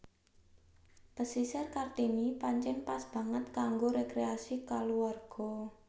Pasisir Kartini pancén pas banget kanggo rékréasi kulawarga